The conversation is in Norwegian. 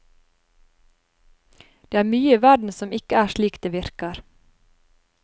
Det er mye i verden som ikke er slik det virker.